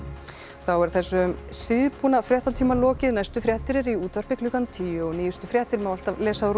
þá er þessum síðbúna fréttatíma lokið næstu fréttir eru í útvarpinu klukkan tíu og nýjustu fréttir má alltaf lesa á